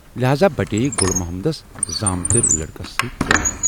لٮ۪ہذا بٹے یہِ گُل محمدس زامتٕرۍ لٔڑکس سۭتۍ ترٲم۔